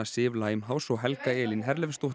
Sif Limehouse og Helga Elín